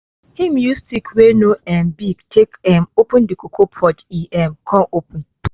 him use stick wey no um big take um open the cocoa pod e um con open